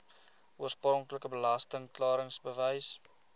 oorspronklike belasting klaringsbewys